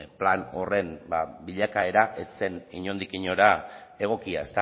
plan horren bilakaera ez zen inondik inora egokia